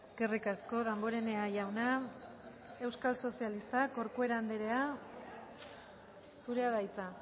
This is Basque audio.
eskerrik asko damborenea jauna euskal sozialistak corcuera andrea zurea da hitza